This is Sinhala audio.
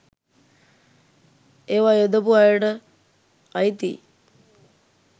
ඒව යොදපු අයට අයිතියි.